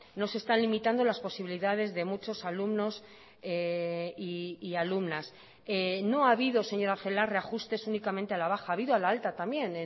no se están limitando las posibilidades de muchos alumnos y alumnas no ha habido señora celaá reajustes únicamente a la baja ha habido a la alta también